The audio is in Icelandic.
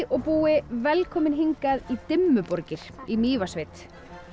og búi velkomin hingað í Dimmuborgir í Mývatnssveit